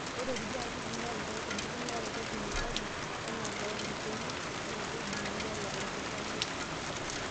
Ore kulie katitin naa enkitumiaroto e kemikali anaa loor ilkurt naa keidim ainyala olkishamiet.